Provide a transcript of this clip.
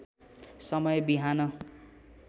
समय बिहान